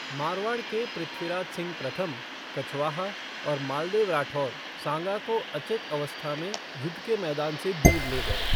मारवाड़ के पृथ्वीराज सिंह प्रथम, कछवाहा और मालदेव राठौर सांगा को अचेत अवस्था में युद्ध के मैदान से दूर ले गए।